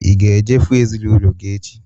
Ị ga-eje fụụ ezinaụlọ gị echi?